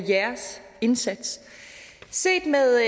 jeres indsats set med